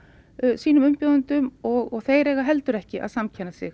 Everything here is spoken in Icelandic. sínum umbjóðendum og þeir eiga heldur ekki að samkenna sig